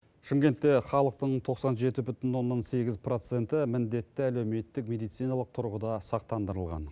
шымкентте халықтың тоқсан жеті бүтін оннан сегіз проценті міндетті әлеуметтік медициналық тұрғыда сақтандырылған